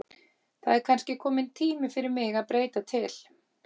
Það er kannski kominn tími fyrir mig að breyta til.